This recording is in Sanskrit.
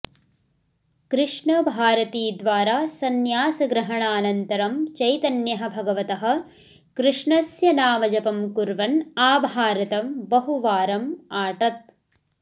कृष्णभारतीद्वारा संन्यासग्रहणानन्तरं चैतन्यः भगवतः कृष्णस्य नामजपं कुर्वन् आभारतं बहु वारम् आटत्